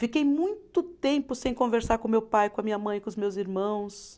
Fiquei muito tempo sem conversar com meu pai, com a minha mãe, com os meus irmãos.